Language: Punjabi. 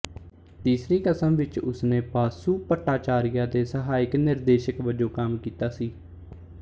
ਤੀਸਰੀ ਕਸਮ ਵਿੱਚ ਉਸਨੇ ਬਾਸੂ ਭੱਟਾਚਾਰੀਆ ਦੇ ਸਹਾਇਕ ਨਿਰਦੇਸ਼ਕ ਵਜੋਂ ਕੰਮ ਕੀਤਾ ਸੀ